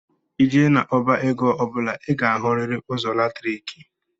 i jee na- ọbá égo ọbula i ga- ahuriri ụzọ latriki